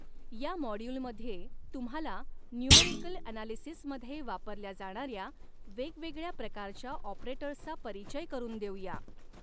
या मॉड्यूलमध्ये तुम्हाला न्युमरिकल ॲनॕलिसिसमध्ये वापरल्या जाणाऱ्या वेगवेगळ्या प्रकारच्या ऑपरेटर्सचा परिचय करून देऊया.